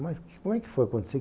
Mas como é que foi acontecer?